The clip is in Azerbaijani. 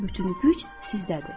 Bütün güc sizdədir.